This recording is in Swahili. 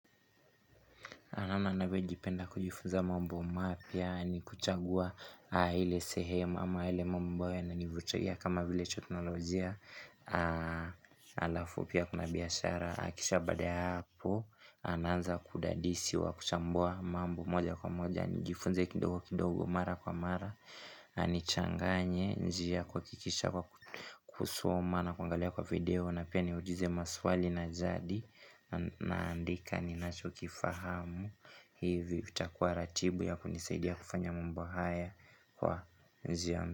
Anamna anavyo jipenda kujifunza mambo mapya ni kuchagua ile sehem ama ile mambayo yananivutia kama vile teknolojia Alafu pia kuna biashara, akisha baada ya hapo, ananza kudadisi wa kuchambua mambo moja kwa moja nijifunze kidogo kidogo mara kwa mara, nanichanganye njia kuakikisha kwa kusoma na kuwangalia kwa video na pia niulize maswali na jadi naandika ni nacho kifahamu hivi utakuwa ratibu ya kunisaidia kufanya mambo haya kwa zion.